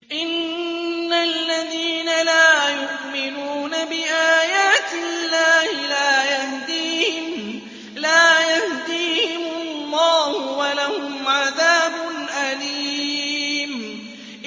إِنَّ الَّذِينَ لَا يُؤْمِنُونَ بِآيَاتِ اللَّهِ لَا يَهْدِيهِمُ اللَّهُ وَلَهُمْ عَذَابٌ أَلِيمٌ